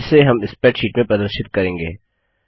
जिसे हम स्प्रैडशीट में प्रदर्शित करेंगे